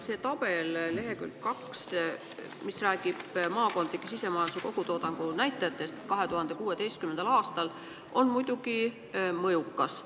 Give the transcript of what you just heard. See tabel seletuskirja leheküljel 2, kus on toodud maakondade sisemajanduse kogutoodangu näitajad 2016. aastal, on muidugi mõjuv.